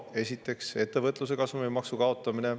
Esiteks, ettevõtluse kasumimaksu kaotamine.